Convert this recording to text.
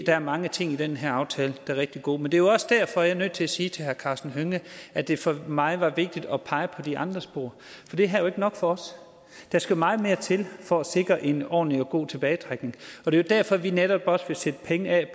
der er mange ting i den her aftale er rigtig gode men det er også derfor jeg er nødt til at sige til herre karsten hønge at det for mig var vigtigt at pege på de andre spor for det her er ikke nok for os der skal meget mere til for at sikre en ordentlig og god tilbagetrækning og det er derfor vi netop også vil sætte penge af